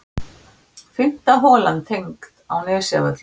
Fimmta holan tengd á Nesjavöllum.